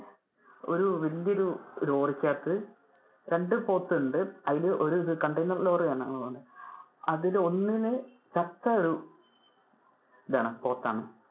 ഒരു വലിയൊരു ലോറിക്ക് അകത്തു, രണ്ടു പോത്തുണ്ട് അതില് ആഹ് ഒരു container ലോറി ആണ്. അതിൽ ഒന്നിന് ചത്തൊരു ഇതാണ് പോത്താണ്.